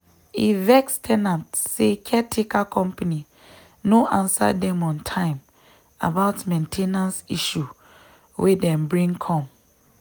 e vex ten ant say caretaker company no answer dem on time about main ten ance issue wey dem bring come.